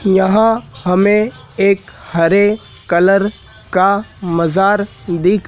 यहां हमें एक हरे कलर का मजार दिख--